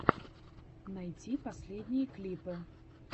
найти последние клипы